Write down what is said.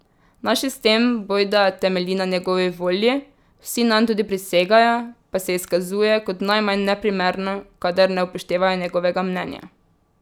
Naš sistem bojda temelji na njegovi volji, vsi nanj tudi prisegajo, pa se izkazuje kot najmanj neprimerno, kadar ne upoštevajo njegovega mnenja.